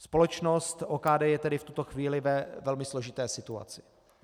Společnost OKD je tedy v tuto chvíli ve velmi složité situaci.